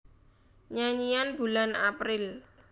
Nyanyian Bulan April